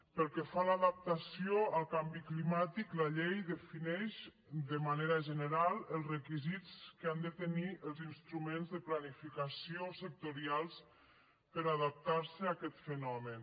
pel que fa a l’adaptació al canvi climàtic la llei defineix de manera general els requisits que han de tenir els instruments de planificació sectorials per adaptarse a aquest fenomen